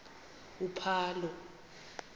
uphalo